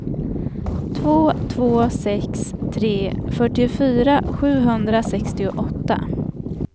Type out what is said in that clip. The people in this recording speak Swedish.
två två sex tre fyrtiofyra sjuhundrasextioåtta